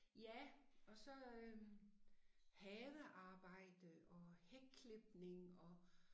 Ja og så øh havearbejde og hækklipning og